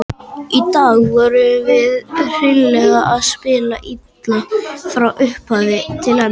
Í dag vorum við hreinlega að spila illa, frá upphafi til enda.